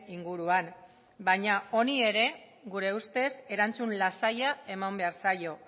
inguruan baina honi ere gure ustez erantzun lasaia eman behar zaio